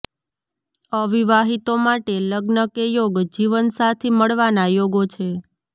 અવિવાહિતો માટે લગ્ન કે યોગ્ય જીવન સાથી મળવાના યોગો છે